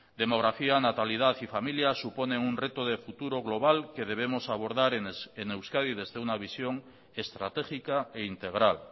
demografía natalidad y familia suponen un reto de futuro global que debemos abordar en euskadi desde una visión estratégica e integral